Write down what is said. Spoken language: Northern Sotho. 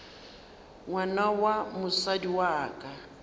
ngwana wa mosadi wa ka